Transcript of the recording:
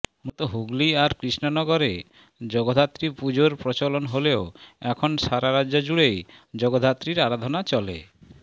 মূলত হুগলি আর কৃষ্ণনগরে জগদ্ধাত্রী পুজোর প্রচলন হলেও এখন সারা রাজ্য জুড়েই জগদ্ধাত্রীর আরাধনা চলে